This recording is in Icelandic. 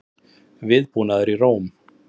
Viðbúnaður í Róm